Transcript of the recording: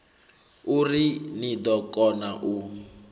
uri ni ḓo kona u